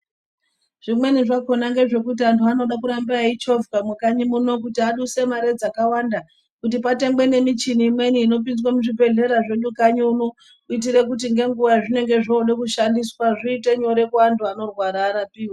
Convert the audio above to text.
Zvimweni zvakona ngezvekuti anhu anoda kuramba eichovhwa mukanyi muno kuti aduse mari dzakawanda, kuti patengwe nemichina imweni inopinzwa muzvibhedhlera zvedu kanyi uno, kuitira kuti ngenguva yazvinenge zvoode kushandiswa zviite nyore kuantu anorwara arapiwe.